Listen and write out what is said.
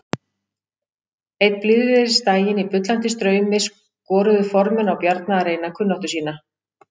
Einn blíðviðrisdaginn í bullandi straumi skoruðu formenn á Bjarna að reyna kunnáttu sína.